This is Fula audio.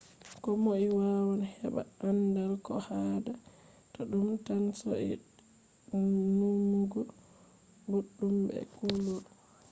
komoi wawan heba andaal. ko haada ta dum tan soidee numugo boduum be kulol